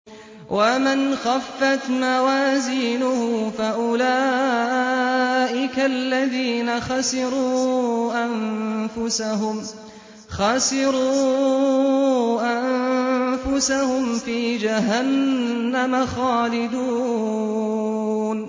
وَمَنْ خَفَّتْ مَوَازِينُهُ فَأُولَٰئِكَ الَّذِينَ خَسِرُوا أَنفُسَهُمْ فِي جَهَنَّمَ خَالِدُونَ